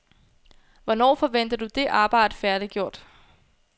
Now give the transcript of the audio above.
Hvornår forventer du det arbejde færdiggjort?